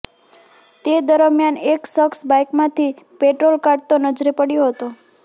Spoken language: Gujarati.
તે દરમિયાન એક શખ્સ બાઈકમાંથી પેટ્રોલ કાઢતો નજરે પડ્યો હતો